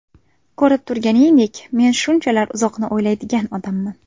Ko‘rib turganingdek, men shunchalar uzoqni o‘ylaydigan odamman.